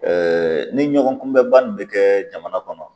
ni ɲɔgɔn kunbɛba nin bɛ kɛ jamana kɔnɔ